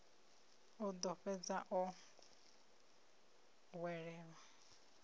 o ḓo fhedza o hwelelwa